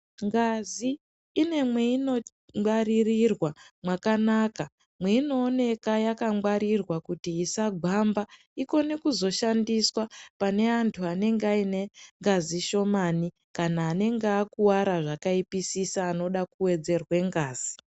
Ngazi ine mwainongwarirorwa mwakanaka, mweinooneka yakangwarirwa kuti isagwamba ikone kuzoshandiswa pane antu anenge aine ngazi shomane kana anenge akuwara zvakaipisisa anoda kuwedzerwa ngazi